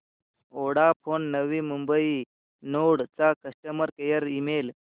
Vodafone Navi Mumbai node चा customer care email